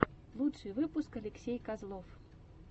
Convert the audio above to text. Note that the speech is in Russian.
лучший выпуск алексей козлов